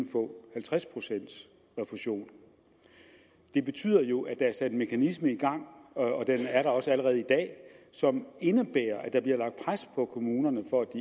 få halvtreds pcts refusion det betyder jo at der er sat en mekanisme i gang og den er der også allerede i dag som indebærer at der bliver lagt pres på kommunerne for at